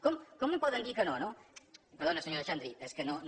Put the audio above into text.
com em poden dir que no no perdoni senyora xandri és que no